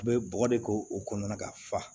U bɛ bɔgɔ de k'o kɔnɔna ka fa